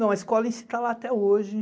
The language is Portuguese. Não, a escola em si está lá até hoje.